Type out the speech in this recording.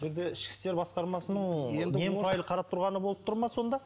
енді ішкі істер басқармасының немұрайды қарап тұрғаны болып тұр ма сонда